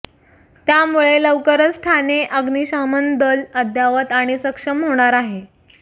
त्यामुळे लवकरच ठाणे अग्निशमन दल अद्यावत आणि सक्षम होणार आहे